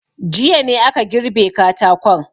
Jiya ne aka girbe katakon.